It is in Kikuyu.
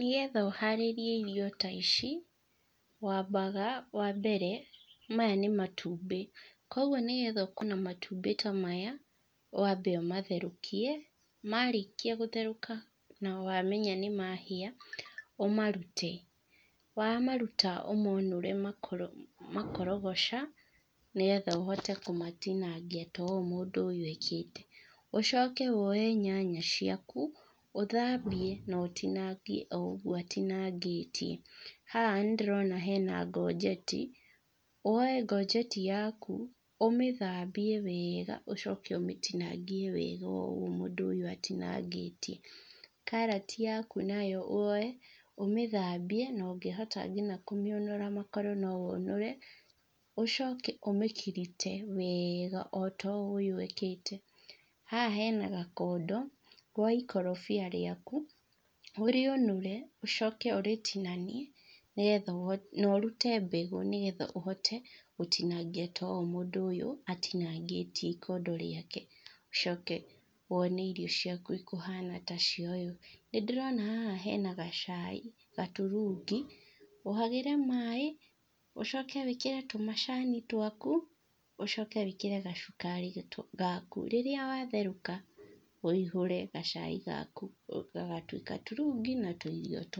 Nĩgetha ũharĩrie irio ta ici, wambaga wambere, maya nĩ matumbĩ, koguo nĩgetha ũkorwo na matumbĩ ta maya, wambe ũmatherukie, marĩkia gũtherũka, na wamenya nĩmahĩa, ũmarute. Wamaruta ũmonũre makoro makorogoca, nĩgetha ũhote kũmatinangia ta ũũ mũndũ ũyũ ekĩte. Ũcoke woye nyanya ciaku, ũthambie, na ũtinangie, o ũguo ũtinangĩtie. Haha nĩndĩrona hena ngojeti, woye ngojeti yaku, ũmĩthambie wega, ũcoke ũmĩtinangie wega ũũ mũndũ ũyũ atinangĩtie. Karati yaku nayo woye, ũmĩthambie, na ũngĩhota nginya kũmĩũnũra makoro no ũnũre, ũcoke ũmĩkirite wega ota ũũ ũyũ ekĩte. Haha hena gakondo, woye ikorobia rĩaku, ũrĩũnũre, ũcoke ũrĩtinanie, nĩgetha ũhote na ũrute mbegũ nĩgetha ũhote gũtinangia ta ũũ mũndũ ũyũ, atinangĩtie ikondo rĩake. Ũcoke wone irio ciaku ikũhana ta cia ũyũ. Nĩndirona haha hena gacai, gaturungi, ũhagĩre maĩ, ũcoke wĩkĩre tũmacani twaku, ũcoke wĩkĩre gacukari gaku. Rĩrĩa watherũka, wĩihũre gacai gaku gagatuĩka turungi na tuirio tũũ.